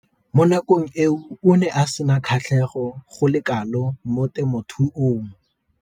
Mo nakong eo o ne a sena kgatlhego go le kalo mo temothuong.